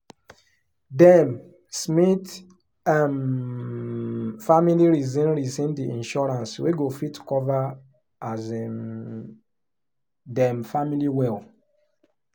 dem smith um family reason reason the insurance wey go fit cover um dem family well.